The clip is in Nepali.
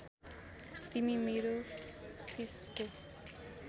तिमी मेरो फिसको